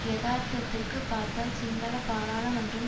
யதார்த்தத்திற்கு பார்த்தால் சிங்கள பாராளுமன்றம்